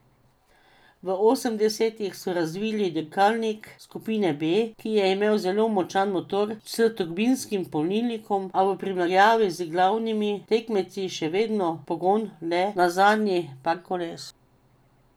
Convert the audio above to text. V osemdesetih so razvili dirkalnik skupine B, ki je imel zelo močan motor s turbinskim polnilnikom, a v primerjavi z glavnimi tekmeci še vedno pogon le na zadnji par koles.